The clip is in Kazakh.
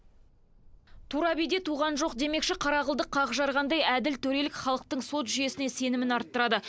тура биде туған жоқ демекші қара қылды қақ жарғандай әділ төрелік халықтың сот жүйесіне сенімін арттырады